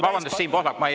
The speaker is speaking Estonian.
Vabandust, Siim Pohlak!